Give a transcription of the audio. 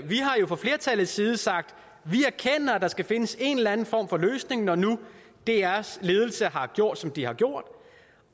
vi har jo fra flertallets side sagt vi erkender at der skal findes en eller anden form for løsning når nu drs ledelse har gjort som de har gjort